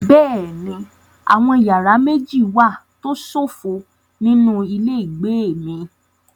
Bẹ́ẹ̀ni, àwọn yàrá méjì wà tó ṣófo nínú ilé ìgbé mi.